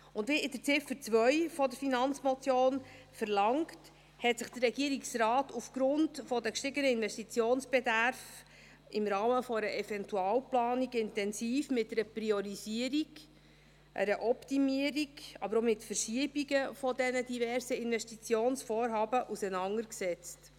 Und wie in Ziffer 2 der Finanzmotion verlangt, hat sich der Regierungsrat aufgrund der gestiegenen Investitionsbedarfe im Rahmen einer Eventualplanung intensiv mit einer Priorisierung, mit einer Optimierung, aber auch mit Verschiebungen der diversen Investitionsvorhaben auseinandergesetzt.